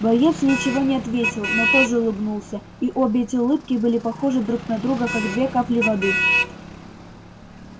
боец ничего не ответил но тоже улыбнулся и обе эти улыбки были похожи друг на друга как две капли воды